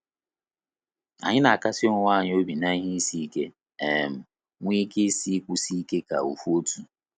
Anyị na akasi onwe anyị obi n"ihe isi ike, um nwee ike isi ịkwụsị ike ka ofu otu